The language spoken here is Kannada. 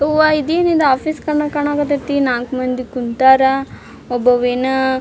ಅವ್ವ ಇದೇನಿದು ಆಫೀಸ್ ಕಂಡಂಗ್ ಕಾಣಕತೈತಿ ನಾಕ್ ಮಂದಿ ಕುಂತರ್ ಒಬ್ಬವೆನ್.